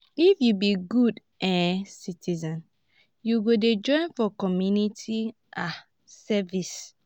if you be good um citizen you go dey join for community um service.